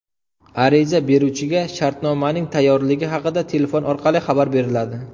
Ariza beruvchiga shartnomaning tayyorligi haqida telefon orqali xabar beriladi.